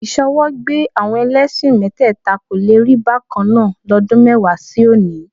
Ìṣọwọ́gbé àwọn ẹlẹ́ṣin mẹ́tẹ́ẹ̀ta kò le rí bákan náà lọ́dún mẹ́wàá sí òní